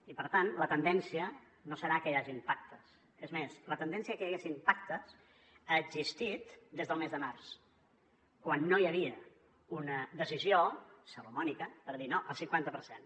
i per tant la tendència no serà que hi hagin pactes és més la tendència que hi haguessin pactes ha existit des del mes de març quan no hi havia una decisió salomònica per dir no el cinquanta per cent